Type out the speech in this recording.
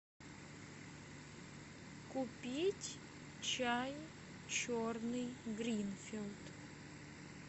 купить чай черный гринфилд